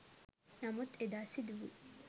නමුත් එදා සිදුවු